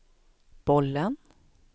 bollen